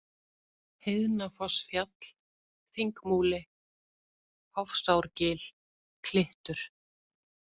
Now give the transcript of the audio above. Heiðnafossfjall, Þingmúli, Hofsárgil, Klittur